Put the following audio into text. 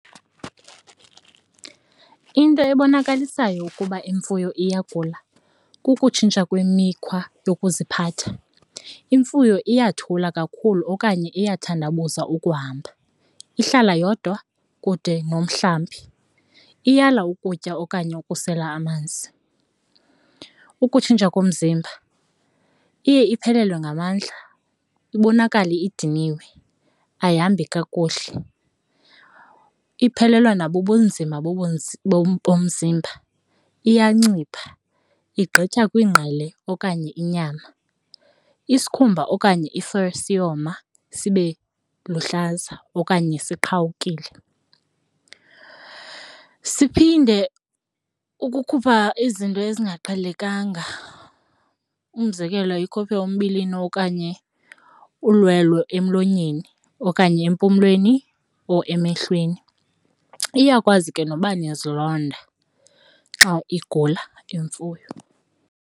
Into ebonakalisayo ukuba imfuyo iyagula kukutshintsha kwemikhwa yokuziphatha, imfuyo iyathula kakhulu okanye bayathandabuza ukuhamba, ihlala yodwa kude nomhlambi, iyalwa ukutya okanye ukusela amanzi. Ukutshintsha komzimba iye iphelelwe ngamandla, ibonakale idiniwe, ayihambi kakuhle iphelelwa na bubunzima bomzimba iyancipha igqitha kwiingqele okanye inyama, isikhumba okanye siyoma sibe luhlaza okanye siqhawukile. Siphinde ukukhupha izinto ezingaqhelekanga, umzekelo ikhuphe umbilini okanye ulwelo emlonyeni okanye empumlweni or emehlweni, iyakwazi ke noba nezilonda xa igula imfuyo.